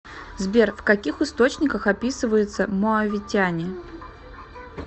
сбер в каких источниках описывается моавитяне